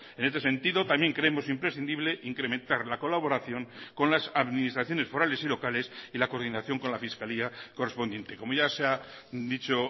en este sentido también creemos imprescindible incrementar la colaboración con las administraciones forales y locales y la coordinación con la fiscalía correspondiente como ya se ha dicho